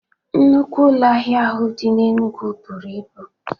Nnukwu ụlọ ahịa ahụ dị n'Enugwu buru ibu.